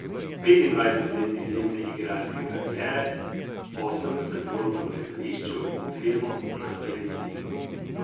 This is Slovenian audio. Petindvajset let izjemne igralske kariere, osemdeset vlog v gledališču, filmu, na televiziji.